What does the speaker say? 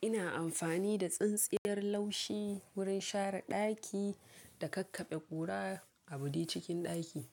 Ina amfani da tsintsiyar laushi wurin share ɗaki, da kakkaɓe ƙura, a buɗe cikin ɗaki.